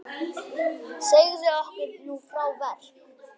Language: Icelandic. Segðu okkur nú frá verk